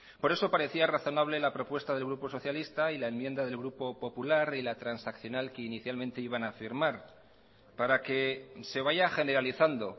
por eso parecía razonable la propuesta del grupo socialista y la enmienda del grupo popular y la transaccional que inicialmente iban a firmar para que se vaya generalizando